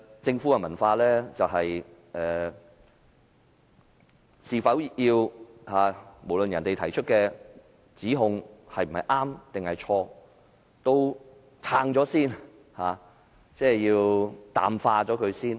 政府的文化就是無論別人提出的指控是對是錯，都要先行辯護、淡化。